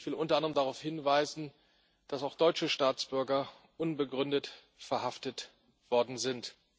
Ich will unter anderem darauf hinweisen, dass auch deutsche Staatsbürger unbegründet verhaftet worden sind.